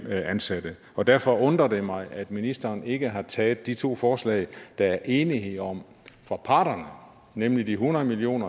ansatte og derfor undrer det mig at ministeren ikke har taget de to forslag der er enighed om fra parterne nemlig de hundrede million